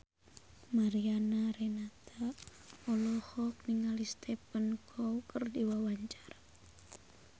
Mariana Renata olohok ningali Stephen Chow keur diwawancara